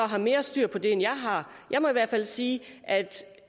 har mere styr på det end jeg har jeg må i hvert fald sige at